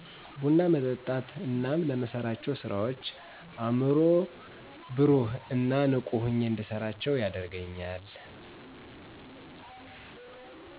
ቡና መጠጣት እናም ለምሠራቸው ስራዎች አይምሮ በሩህ እን ንቁ ሁኜ እንድሰራ ያደርገኛል